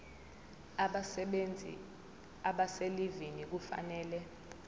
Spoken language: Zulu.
abasebenzi abaselivini kufanele